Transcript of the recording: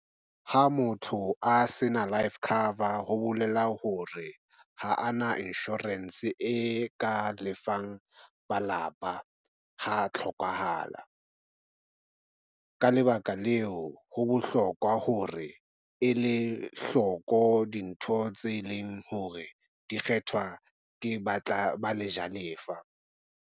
Ha motho a se na life cover ho bolela hore ha a na insurance e ka lefang malapa, ha tlhokahala. Ka lebaka leo ho bohlokwa hore e le hloko dintho tse leng hore di kgethwa ke batla ba le jalefa.